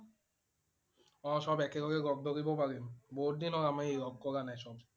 অ' সব একেলগে লগ ধৰিব পাৰিম। বহুত দিন হল আমাৰ ই লগ কৰা নাই সব